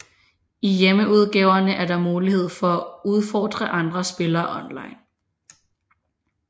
I hjemmeudgaverne er der mulighed for at udfordre andre spillere online